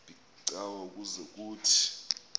becawa ukuze kuthini